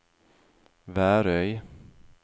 Værøy